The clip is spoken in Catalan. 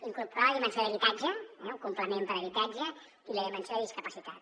incorporar hi la dimensió d’habitatge eh un complement per a habitatge i la dimensió de discapacitat